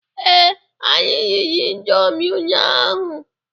Ee, anyị riri indomi ụnyaahụ.